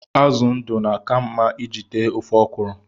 Azụ ndụ na-aka mma iji tee ofe ọkwụrụ